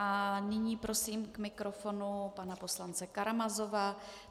A nyní prosím k mikrofonu pana poslance Karamazova.